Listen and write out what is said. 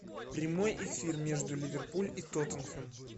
прямой эфир между ливерпуль и тоттенхэм